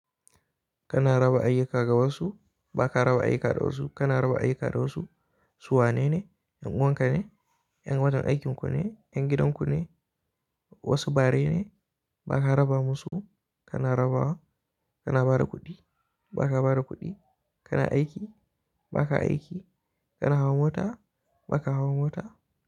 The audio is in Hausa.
Kana raba ayyuka ga wasu, ba ka raba ayyuka da wasu, kana raba ayyuka da wasu, su wanene? Ƴan'uwanka ne, ƴan wajen aikin ku ne, ƴan gidan ku ne, wasu bare ne, ba ka raba musu, kana raba wa, kana ba da kuɗi, ba ka ba da kuɗi, kana aiki, ba ka aiki, kana hawa mota, ba ka hawa mota.